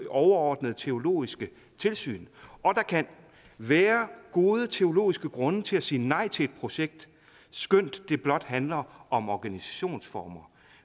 overordnede teologiske tilsyn og der kan være gode teologiske grunde til at sige nej til et projekt skønt det blot handler om organisationsformer